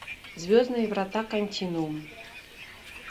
звездные врата континуум